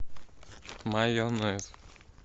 майонез